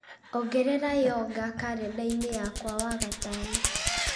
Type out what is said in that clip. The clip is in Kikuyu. ongerera yoga karenda-inĩ yakwa wagatano